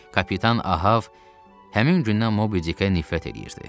Kapitan Ahab həmin gündən Mobi-Dikə nifrət eləyirdi.